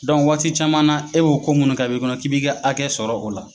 waati caman na e b'o ko munnu k'a bɛ i kɔnɔ k'i b'i ka hakɛ sɔrɔ o la.